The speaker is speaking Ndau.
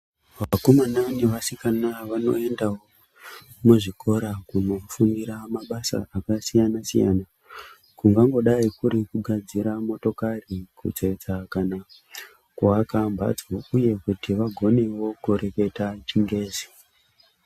Vakomana nevasikana vanoendawo muzvikora kundofundira mabasa akasiyana-siyana kungangodai kuti kugadzira motokari Kutsetsa kana kuaka mbatso uye kuti vagonewo kureketa chingezi.